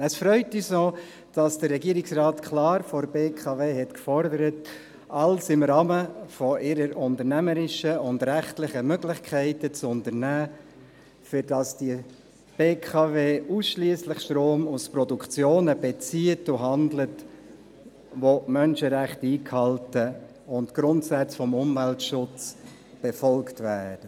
Es freut uns auch, dass der Regierungsrat klar von der BKW gefordert hat, alles im Rahmen ihrer unternehmerischen und rechtlichen Möglichkeiten zu unternehmen, damit die BKW ausschliesslich Strom aus Produktionen bezieht und handelt, welche die Menschenrechte einhalten und Grundsätze des Umweltschutzes befolgen.